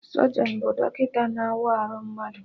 Sọjọnụ bụ dọkịta na-awa arụ mmadụ